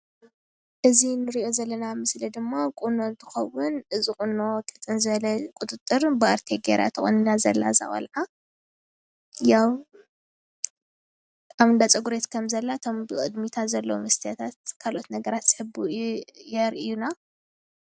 እዚ እንሪኦ ዘለና ምስሊ ድማ ቁኖ እንትከውን እዚ ቁኖ ቅጥን ዝበለ ቁጥጥር ብኣርቴ ጌራ ተቆኒና እያ ዘላ ቆልዓ ፡፡ ያው ኣብ እንዳ ፀጉሪ ከም ዘላ እቶም ብቅድሚታ ዘለዉ ሜስትያታት ካልኦት ነገራት የርኡይና፡፡